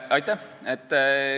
Aitäh!